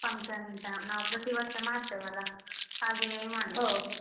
Function ನಾವ್ ಪ್ರತಿವರ್ಷ ಮಾಡ್ತೇವಲ್ಲ ಹಾಗೇ ಮಾಡಿದ್ದು .